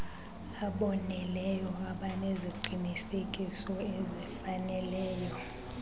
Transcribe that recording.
aboneleyo abaneziqinisekiso ezifaneleyo